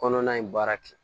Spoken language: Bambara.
Kɔnɔna in baara kɛ